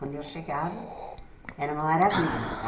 Quando eu chegava, era uma maravilha.